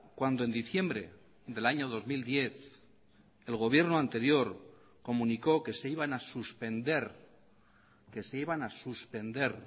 cuando en diciembre del año dos mil diez el gobierno anterior comunicó que se iban a suspender que se iban a suspender